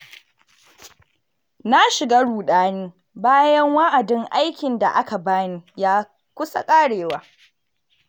Na shiga ruɗani bayan wa'adin aikin da aka ba ni ya kusa ƙarewa.